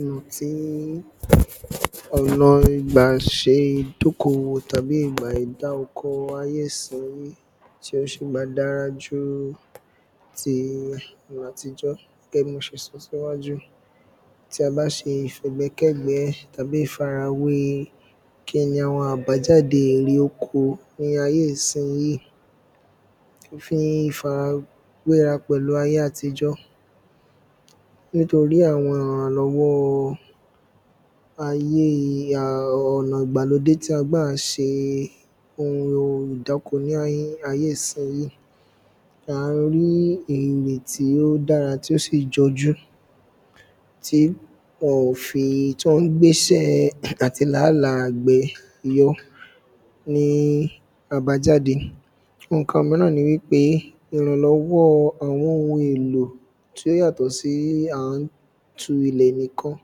ọ̀nà tí ọ̀nà ìgbàṣe ìdókowò tàbí ìgbà dá oko ayé ìsinyìí tó ṣì ma dára ju ti àtijọ́ gẹ́gẹ́ bí mo ṣe sọ síwájú tí a bá ṣe ìfẹ̀gbékẹ̀gbẹ́ tàbí ìfarawé kíni àwọn àbájáde èrè oko ní ayé ìsinyìí fi fara wé ra pẹ̀lú ayé àtijọ́ nítorí àwọn ìrànlọ́wọ́ ayé ọ̀nà ìgbàlódé tí a ń gbà ṣe ohun ìdáko ní ayé ìsinyìí à ń rí èrè tí ó dára tí ó sì jọjú tí ó ń gbésẹ́ẹ àti làálàá àgbẹ̀ yọ ní àbájáde ǹkan míràn ni wípé ìrànlọ́wọ́ àwọn ohun èlò tí ó yàtọ̀ sí à ń tulẹ̀ nìkan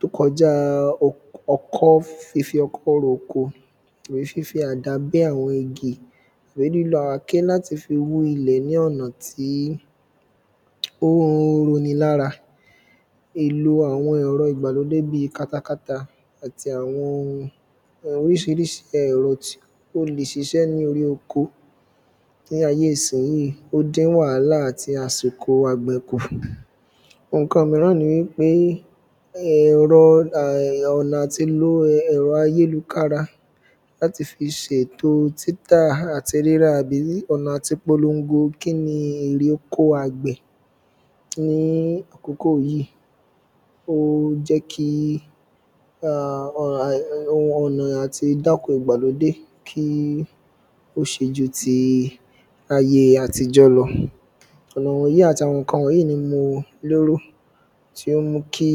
tó kọjá ọkọ́ fífi ọkọ́ roko tàbí fífi àdá bẹ́ àwọn igi tàbí lílo àáké wú ilẹ̀ ní ọ̀nà tí ó roni lára èlò àwọn ẹ̀rọ ìgbàlódé bíi katakata àti àwọn oríṣiríṣi ẹ̀rọ tí ó le ṣiṣẹ́ ní orí oko ní ayé ìsinyìí ó dín wàhálà àti àsìkò àgbẹ̀ kù ohun ǹkan míràn ni wípé ọ̀nà àti lo ẹ̀rọ ayélukára láti fi ṣètò títà àti rírà àbí ọ̀nà àti polongo kíni èrè oko àgbẹ̀ ní àkókò yìí ó jẹ́ kí ọ̀nà àti dáko ìgbàlódé kí ó ṣe ju ayé àtijọ́ lọ ọ̀nà wọ̀nyí àti ǹkan wọ̀nyí ni mo lérò tí ó mú kí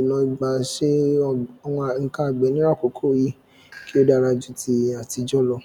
ọ̀nà ìgbà ṣe ǹkan àgbẹ̀ ní àkókò yìí kí ó dára ju ti àtijọ́ lọ.